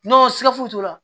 N'o siga foyi t'o la